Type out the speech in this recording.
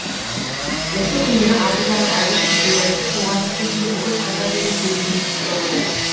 осы күндері абыз аға әбіш кекілбаевты туған өлкесінде бүкіл қазақ елі тебірене еске алуда